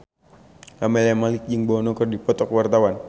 Camelia Malik jeung Bono keur dipoto ku wartawan